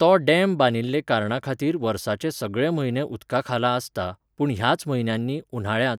तो डॅम बांदिल्ले कारणाखातीर वर्साचे सगळे म्हयने उदकाखाला आसता, पूण ह्याच म्हयन्यांनी, उन्हाळ्यांत